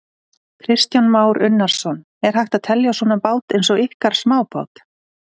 Kristján Már Unnarsson: Er hægt að telja svona bát eins og ykkar smábát?